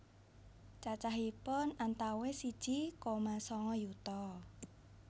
Cacahipun antawis siji koma sanga yuta